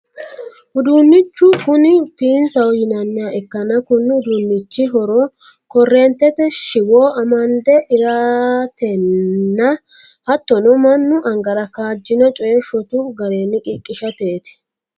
uduunnichu kuni piinsaho yinanniha ikkanna, konni uduunnichi horono correentete shiwo amande eratenna, hattono mannu angara kaajjino coye shotu garinni qiqqishateeti.